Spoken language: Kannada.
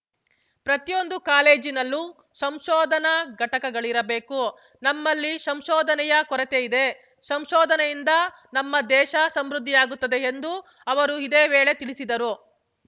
ಪ್ರತಿಯೊಂದು ಕಾಲೇಜಿನಲ್ಲೂ ಸಂಶೋಧನಾ ಘಟಕಗಳಿರಬೇಕು ನಮ್ಮಲ್ಲಿ ಸಂಶೋಧನೆಯ ಕೊರತೆಯಿದೆ ಸಂಶೋಧನೆಯಿಂದ ನಮ್ಮ ದೇಶ ಸಮೃದ್ಧಿಯಾಗುತ್ತದೆ ಎಂದು ಅವರು ಇದೇ ವೇಳೆ ತಿಳಿಸಿದರು